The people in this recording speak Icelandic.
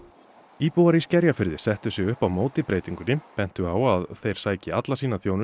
íbúar í Skerjafirði settu sig upp á móti breytingunni bentu á að þeir sæki alla sína þjónustu